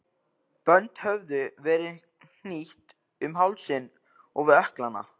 Bönd höfðu verið hnýtt um hálsinn og við ökklana.